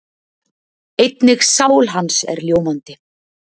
Einnig sál hans er ljómandi.